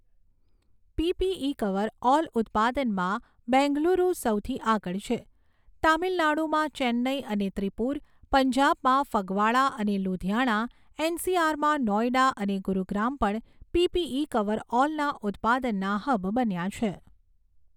PPE coverall ઉત્પાદનમાં બેંગલુરુ સૌથી આગળ છે. તામિલનાડુમાં ચેન્નઈ અને ત્રિપૂર, પંજાબમાં ફગવાડા અને લુધિયાણા, એનસીઆરમાં નોઇડા અને ગુરુગ્રામ પણ પીપીઈ કવર ઓલના ઉત્પાદનના હબ બન્યા છે.